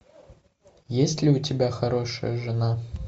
есть ли у тебя хорошая жена